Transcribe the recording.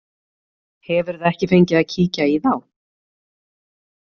Hefurðu ekki fengið að kíkja í þá?